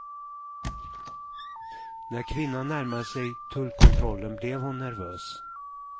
När kvinnan närmade sig tullkontrollen blev hon nervös.